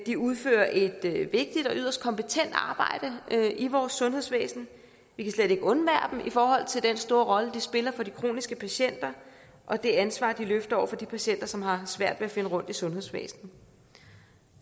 de udfører et vigtigt og yderst kompetent arbejde i vores sundhedsvæsen vi kan slet ikke undvære dem i forhold til den store rolle de spiller for de kroniske patienter og det ansvar de løfter over for de patienter som har svært ved at finde rundt i sundhedsvæsenet